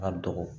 Ka dɔgɔ